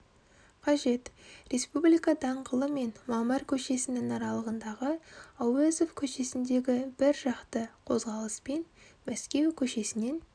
қажет республика даңғылы мен мамыр көшесінің аралығындағы әуезов көшесіндегі бір жақты қозғалыс пен мәскеу көшесінен